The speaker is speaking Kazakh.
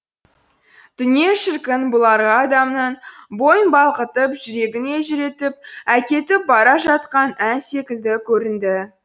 дүние шіркін бұларға адамның бойын балқытып жүрегін елжіретіп әкетіп бара жатқан ән секілді көрінді